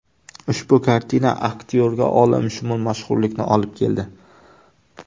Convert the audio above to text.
Ushbu kartina aktyorga olamshumul mashhurlikni olib keldi.